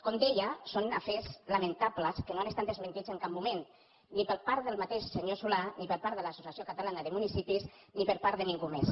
com deia són afers lamentables que no han estat desmentits en cap moment ni per part del mateix senyor solà ni per part de l’associació catalana de municipis ni per part de ningú més